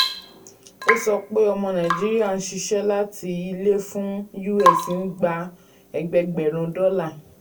ó sọ pé ọmọ nàìjíríà n ṣiṣẹ́ láti ilé fún us n gbà ẹgbẹẹgbẹ̀rún dọ́là.